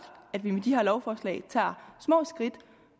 at vi med de her lovforslag tager små skridt